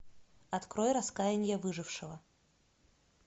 открой раскаяние выжившего